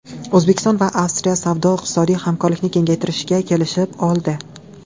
O‘zbekiston va Avstriya savdo-iqtisodiy hamkorlikni kengaytirishga kelishib oldi.